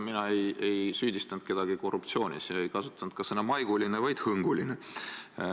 Mina ei süüdistanud kedagi korruptsioonis, ei kasutanud ka sõna "maiguline", vaid "hõnguline".